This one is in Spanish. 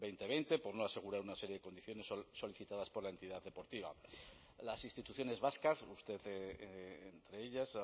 dos mil veinte por no asegurar una serie de condiciones solicitadas por la entidad deportiva las instituciones vascas usted entre ellas